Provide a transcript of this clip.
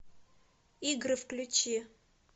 игры включи